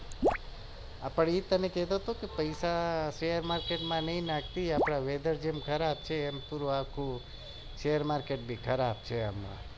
એજ કેતો હતો કે પેસા શેર market નઈ નાખતી અત્યારે weather જેમ ખરાબ છે એમ શેર market પણ ખરાબ છે